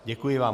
Děkuji vám.